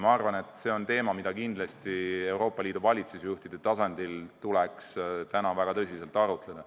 Ma arvan, et see on teema, mida kindlasti Euroopa Liidu valitsusjuhtide tasandil tuleks väga tõsiselt arutada.